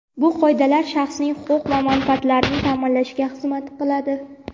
bu qoidalar shaxsning huquq va manfaatlarini ta’minlashga xizmat qiladi.